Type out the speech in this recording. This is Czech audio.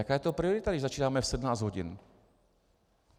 Jaká je to priorita, když začínáme v 17 hodin?